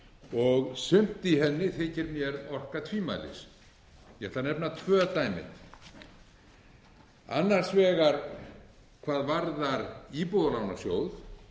og sumt í henni þykir mér orka tvímælis ég ætla að nefna tvö dæmi annars vegar hvað varðar íbúðalánasjóð